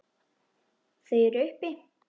Þau eru uppi.